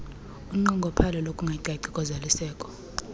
unqongophalo lokungacaci kozalisekiso